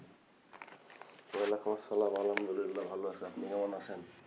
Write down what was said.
ওয়ালেকুম আসেল্লাম আলহামদুলিল্লা ভালো আছি আপনি কেমন আছেন?